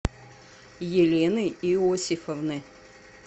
елены иосифовны